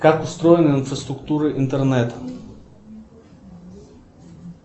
как устроена инфраструктура интернета